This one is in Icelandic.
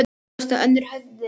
Nú losnaði önnur höndin.